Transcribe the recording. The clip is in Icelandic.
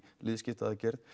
liðskipta aðgerð